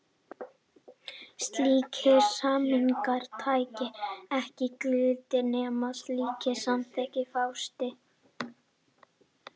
Slíkir samningar taka ekki gildi nema slíkt samþykki fáist.